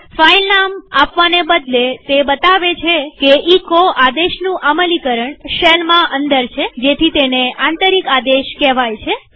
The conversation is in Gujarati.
ફાઈલ નામ આપવાને બદલે તે બતાવે છે કે એચો આદેશનું અમલીકરણ શેલમાં અંદર છેજેથી તેને આંતરિક આદેશ કેહવાય છે